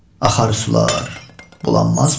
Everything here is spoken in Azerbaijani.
Axar sular bulanmazmı?